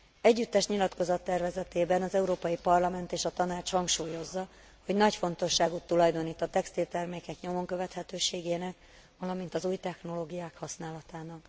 Együttes nyilatkozattervezetében az Európai Parlament és a Tanács hangsúlyozza, hogy nagy fontosságot tulajdonít a textiltermékek nyomonkövethetőségének, valamint az új technológiák használatának.